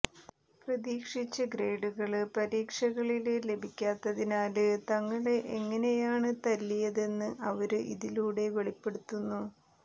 പ്രതീക്ഷിച്ച ഗ്രേഡുകള് പരീക്ഷകളില് ലഭിക്കാത്തതിനാല് തങ്ങളെ എങ്ങനെയാണ് തല്ലിയതെന്ന് അവര് ഇതിലൂടെ വെളിപ്പെടുത്തുന്നു